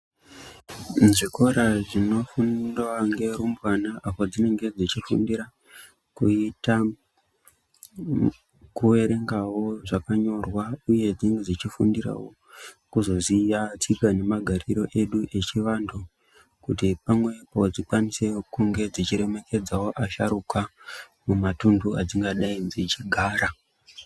Muzvikora munofundwa ngerumbwana apo dzinenge dzechifundira kuita kuerengawo zvakanyorwa uye dzechifundirawo kuzoziya tsika nemagariro edu echivanthu kuti pamwepo dzikwanisewo kudai dzechiremeredza asharuka mumatunhu edzingadai dzechigara.